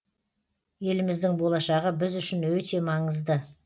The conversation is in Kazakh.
еліміздің болашағы біз үшін өте маңызды